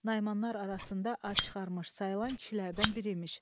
Naimanlar arasında ad çıxarmış sayılan kişilərdən biri imiş.